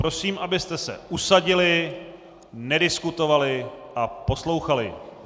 Prosím, abyste se usadili, nediskutovali a poslouchali.